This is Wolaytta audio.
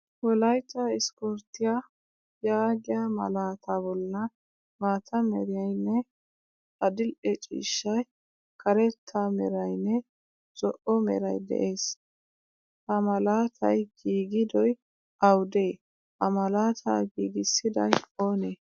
Wolaytta issiporttiyaa yaagiyaa malaataa bollan maataa meerynne adil'e ciishshay, karetta meraynne, zo'o meray de'ees. Ha malaatay giigidoy awude? Ha malaataa giigisiday oonee?